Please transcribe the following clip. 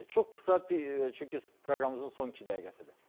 Çox qısa bir, çünki proqramımızın son iki dəqiqəsidir.